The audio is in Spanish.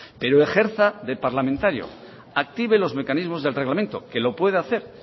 pero ejerza de parlamentario active los mecanismos del reglamento que lo puede hacer